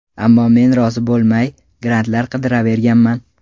Ammo men rozi bo‘lmay, grantlar qidiraverganman.